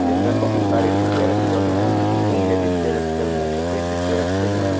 इसमें बहुत सारी डिब्बे रखे हुए हैं नीले डिब्बे रखे हुए हैं सफेद डिब्बे रखे हुए हैं।